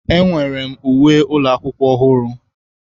Ee, enwere m uwe ụlọ akwụkwọ ọhụrụ.